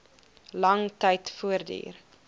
lang tyd voortduur